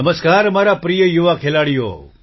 નમસ્કાર મારા પ્રિય યુવા ખેલાડીઓ